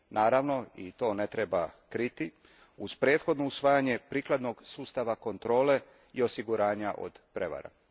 Naravno, i to ne treba kriti, uz prethodno usavajanje prikladnog sustava kontrole i osiguranja od prevara.